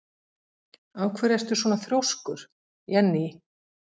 Af hverju ertu svona þrjóskur, Jenný?